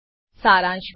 સારાંશ મા